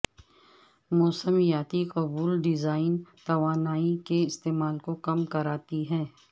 موسمیاتی قبول ڈیزائن توانائی کے استعمال کو کم کرتا ہے